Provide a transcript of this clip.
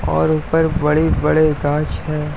और ऊपर बड़े-बड़े गाँछ हैं।